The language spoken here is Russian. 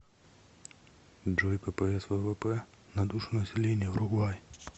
джой ппс ввп на душу населения уругвай